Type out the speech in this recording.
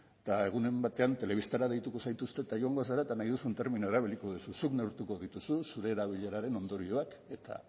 egunen batean telebistara zaituzte joango zara eta nahi duzun terminoa erabiliko duzu zuk neurtuko dituzu zure erabileraren ondorioak eta